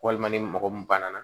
Walima ni mɔgɔ mun banna